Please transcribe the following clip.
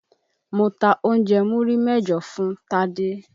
Mo ta oúnjẹ́ múrí mẹ́jọ fún Tádé.